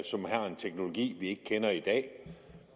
som har en teknologi vi ikke kender i dag